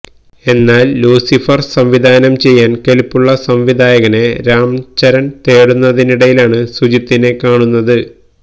എന്നാല് ലൂസിഫര് സംവിധാനം ചെയ്യാന് കെല്പ്പുള്ള സംവിധായകനെ രാം ചരണ് തേടുന്നതിനിടയിലാണ് സുജീത്തിനെ കാണുന്നത്